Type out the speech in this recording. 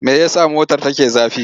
Me ya sa motar take zafi?